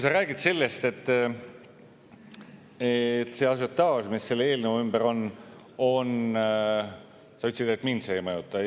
Sa ütlesid, et see ažiotaaž, mis selle eelnõu ümber on, mind ei mõjuta.